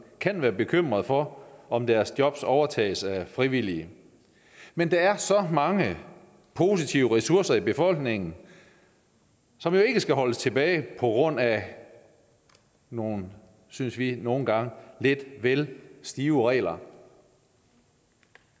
kan være bekymret for om deres job overtages af frivillige men der er så mange positive ressourcer i befolkningen som jo ikke skal holdes tilbage på grund af nogle synes vi nogle gange lidt vel stive regler